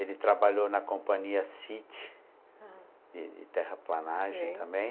Ele trabalhou na companhia Cit, aham, de de terraplanagem também.